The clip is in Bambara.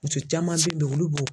Muso caman bɛ yen olu b'o bɔ